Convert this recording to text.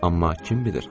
Amma kim bilir?